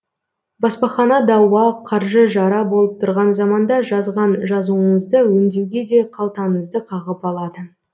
баспахана дауа қаржы жара болып тұрған заманда жазған жазуыңызды өңдеуге де қалтаңызды қағып алады